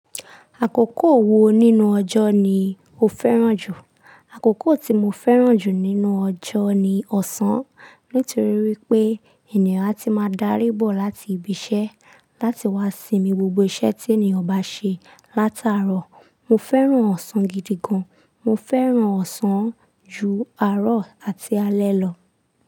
Àkókò wo nínú ọjọ́ ni o fẹ́ràn jù? Àkókò tí mo fẹ́ràn jù nínú ọjọ́ ni ọ̀sán, nítorí wípé ènìyàn á ti máa dárí bọ̀ láti ibiṣẹ́ láti wá sinmi gbogbo iṣẹ́ tí ènìyàn bá ṣe látàárọ̀. Mo fẹ́ràn ọ̀sán gidi gan. Mo fẹ́ràn ọ̀sán ju àárọ̀ àti alẹ́ lọ.